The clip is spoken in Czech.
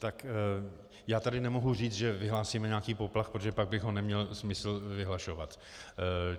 Tak já tady nemohu říci, že vyhlásíme nějaký poplach, protože pak by jej nemělo smysl vyhlašovat.